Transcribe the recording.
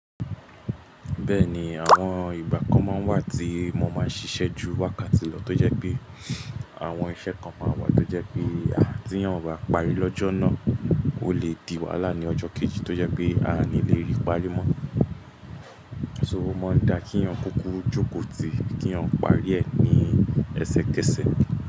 Bẹ́ẹ̀ni, àwọn ìgbà kan máa ń wà tí mo máa ń ṣiṣẹ́ ju wákàtí lọ, tó jẹ́ pé àwọn iṣẹ́ kan máa wà tó jẹ́ pé tí eyan o bá parí lọ́jọ́ náà, ó lè di wàhálà ní ọjọ́ kejì tó jẹ́ pé a ò ní lè rí parí mọ́. So o máa ń dá kínyàn kúkú jókòó tì, kínyàn parí ẹ̀ ní ẹsẹ kẹsẹ̀.